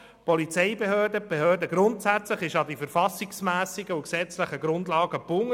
Die Polizeibehörde und die Behörden sind grundsätzlich an die verfassungsmässigen und gesetzlichen Grundlagen gebunden.